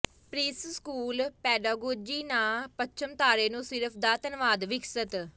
preschool pedagogy ਨਾ ਪੱਛਮੀ ਤਾਰੇ ਨੂੰ ਸਿਰਫ ਦਾ ਧੰਨਵਾਦ ਵਿਕਸਤ